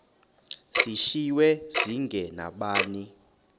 zishiywe zinge nabani